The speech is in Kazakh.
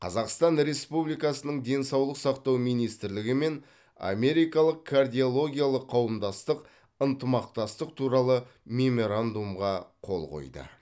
қазақстан республикасының денсаулық сақтау министрлігі мен америкалық кардиологиялық қауымдастық ынтымақтастық туралы меморандумға қол қойды